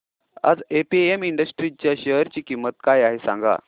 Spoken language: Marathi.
आज एपीएम इंडस्ट्रीज च्या शेअर ची किंमत काय आहे सांगा